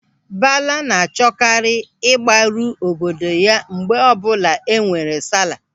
Bala na-achọkarị ịgbaru obodo ya mgbe ọbụla enwere sala.